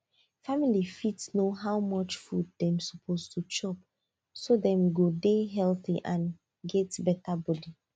family fit know how much food dem suppose to chop so dem go dey healthy and get better body